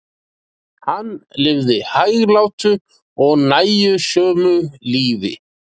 hann lifði hæglátu og nægjusömu lífi